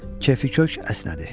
Kefi kök əsnədi.